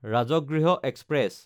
Rajgriha express